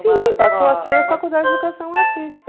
Sim, passou a ser faculdade de educação artística.